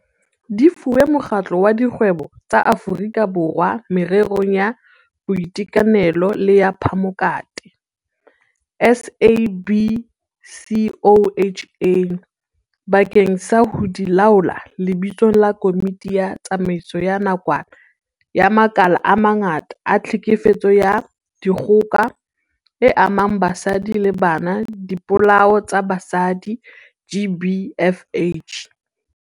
Di fuwe Mokgatlo wa Dikgwebo tsa Aforika Borwa Mererong ya Boitekanelo le ya Phamokate, SABCOHA, bakeng sa ho di laola lebitsong la Komiti ya Tsamaiso ya Nakwana ya makala a mangata a tlhekefetso ya dikgoka e amang basadi le bana le dipolao tsa basadi, GBFH.